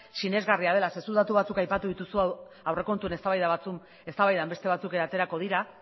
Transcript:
sinesgarria dela zeren eta zuk datu batzuk aipatu dituzu aurrekontuen eztabaidan beste batzuk aterako dira